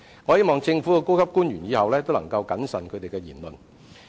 我希望政府高級官員日後要謹慎言論。